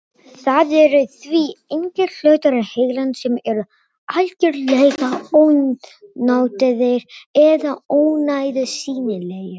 Það eru því engir hlutar heilans sem eru algjörlega ónotaðir eða ónauðsynlegir.